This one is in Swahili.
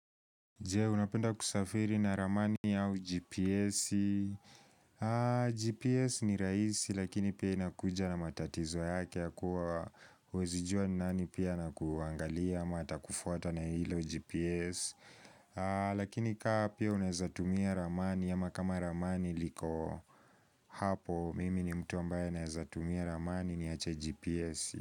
Jee unapenda kusafiri na ramani ya uGPS GPS ni raisi lakini pia inakuja na matatizo yake ya kuwa Uwezijua nani pia na kuangalia ama atakufuata na hilo uGPS Lakini kaa pia unaezatumia ramani ama kama ramani liko Hapo mimi ni mtu ambaye naezatumia ramani niache GPS.